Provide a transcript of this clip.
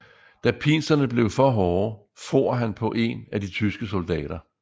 Da pinslerne blev for hårde for han på en af de tyske soldater